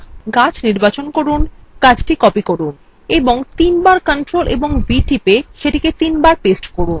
গাছ নির্বাচন করুন এবং ctrl এবং c টিপে copy করুন এবং তিনবার ctrl ও v টিপে তিনবার paste করুন